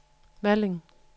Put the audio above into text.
Malling